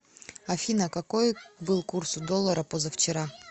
афина какой был курс у доллара позавчера